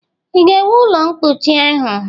Ị ga-ewu ụlọ mkpuchi ahụ?